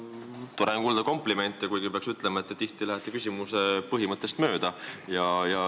Tore on komplimente kuulda, kuigi peab ütlema, et te tihti lähete küsimuse mõttest mööda.